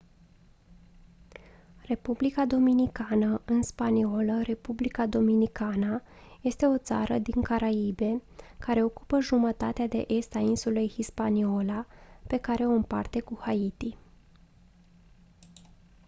republica dominicană în spaniolă: república dominicana este o țară din caraibe care ocupă jumătatea de est a insulei hispaniola pe care o împarte cu haiti